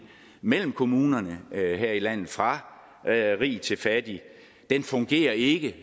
mellem kommunerne her i landet fra rig til fattig den fungerer ikke